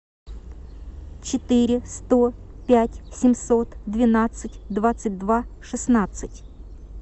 четыре сто пять семьсот двенадцать двадцать два шестнадцать